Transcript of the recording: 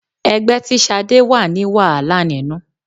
Ẹgbẹ́ tí Ṣadé wà ní wàhálà nínú.